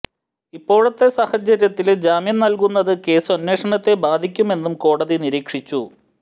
ഇപ്പോഴത്തെ സാഹചര്യത്തില് ജാമ്യം നല്കുന്നത് കേസ് അന്വേഷണത്തെ ബാധിക്കുമെന്നും കോടതി നിരീക്ഷിച്ചു